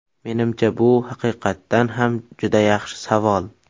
Menimcha, bu haqiqatdan ham juda yaxshi savol.